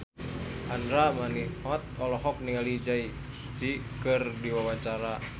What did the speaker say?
Andra Manihot olohok ningali Jay Z keur diwawancara